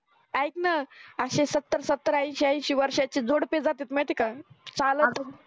ऐकणा अशी सत्तर सत्तर ऐंशी ऐंशी वर्षाची जोडपी जातात माहित्ये का चालत अं